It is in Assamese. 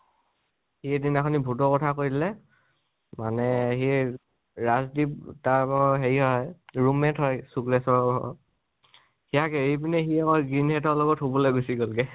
সি সিদিনা ভুতৰ কথা কৈ দিলে মানে সি, ৰাজদ্বিপ, তাৰ বাৰু হেৰি হয় ,room mate হয় শুক্লেশ্বৰৰ, সিইয়াক এৰি পিনে আকৌ শুবলৈ গুছি গল গৈ